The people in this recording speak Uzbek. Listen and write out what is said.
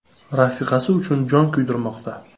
“Rafiqasi uchun jon kuydirmoqda.